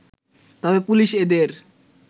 তবে পুলিশ এদের